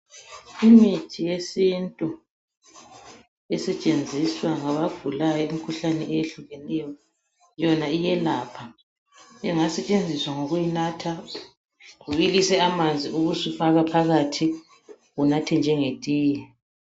Imithi yesintu esetshenziswa ngabagulayo kumkhuhlane eyehlukeneyo, yona iyelapha ingasetshenziswa ngokuyinatha ubilise amanzi ubusufaka phakathi unathe njengetiye.